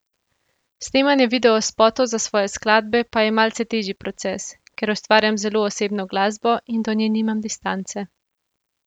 Snemanje videospotov za svoje skladbe pa je malce težji proces, ker ustvarjam zelo osebno glasbo in do nje nimam distance.